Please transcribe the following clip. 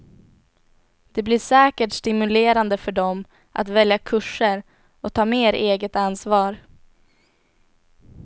Det blir säkert stimulerande för dem att välja kurser och ta mer eget ansvar.